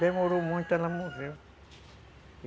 Demorou muito, ela morreu.